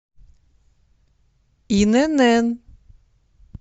инн